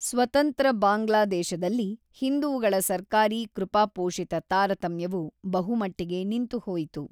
ಸ್ವತಂತ್ರ ಬಾಂಗ್ಲಾದೇಶದಲ್ಲಿ, ಹಿಂದೂಗಳ ಸರ್ಕಾರೀ-ಕೃಪಾಪೋಷಿತ ತಾರತಮ್ಯವು ಬಹುಮಟ್ಟಿಗೆ ನಿಂತುಹೋಯಿತು.